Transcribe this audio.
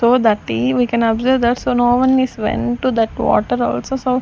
through the tree we can observes that no one is went to that water also so --